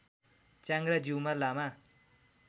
च्याङ्ग्रा Jiuma लामा